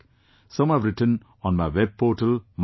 Some have written on my web portal mygov